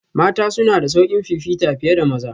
Mata suna da sauƙin fifita fiye da maza